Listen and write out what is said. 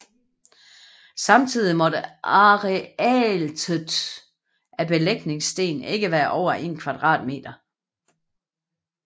Samtidigt må arealtet af en belægningssten ikke være over 1 kvadratmeter